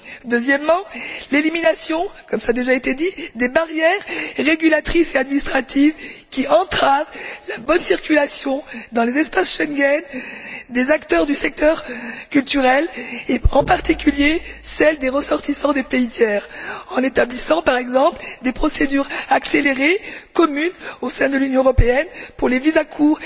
Deuxièmement, l'élimination comme cela a déjà été dit des barrières régulatrices et administratives qui entravent la bonne circulation, dans l'espace Schengen, des acteurs du secteur culturel, en particulier celle des ressortissants des pays tiers, en établissant, par exemple, des procédures accélérées communes au sein de l'Union européenne pour les visas à court